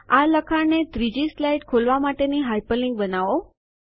આ લખાણને સ્લાઇડ ૩ ખોલવા માટે હાઇપરલિન્ક બનાવો